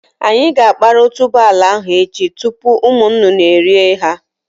Anyị ga-akpara otuboala ndị ahụ echi tupu ụmụ nnụnụ erié ha.